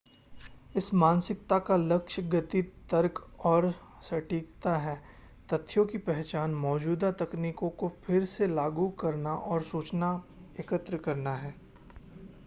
इस मानसिकता का लक्ष्य गति तर्क और सटीकता है तथ्यों की पहचान मौजूदा तकनीकों को फिर से लागू करना और सूचना एकत्र करना है